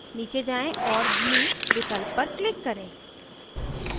नीचे जाएँ और blue विकल्प पर click करें